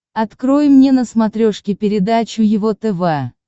открой мне на смотрешке передачу его тв